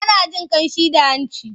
Ana jin ƙamshi da hanci.